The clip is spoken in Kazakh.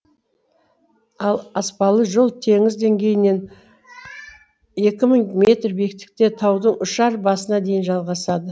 ал аспалы жол теңіз деңгейінен екі мың метр биіктікте таудың ұшар басына дейін жалғасады